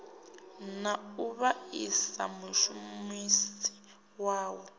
na u vhaisa mushumisi wawo